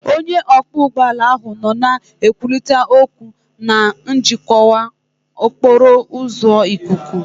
Onye ọkwọ ụgbọelu ahụ nọ na-ekwurịta okwu na njikwa okporo ụzọ ikuku